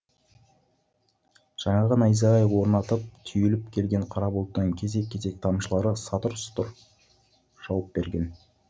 жаңағы найзағай ойнатып түйіліп келген қара бұлттың кесек кесек тамшылары сатұр сұтыр жауып берген